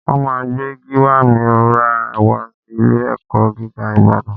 Wọ́n máa gbé Gíwá mìíràn wá sí ilé-ẹ̀kọ́ gíga Ìbàdàn